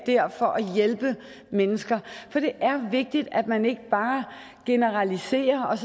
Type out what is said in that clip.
der for at hjælpe mennesker for det er vigtigt at man ikke bare generaliserer og